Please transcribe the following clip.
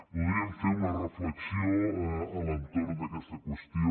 voldríem fer una reflexió a l’entorn d’aquesta qüestió